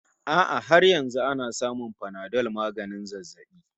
A'a har yanzu ana samun Panadol maganin zazzabi